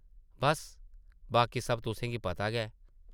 बस्स, बाकी सब तुसें गी पता गै ।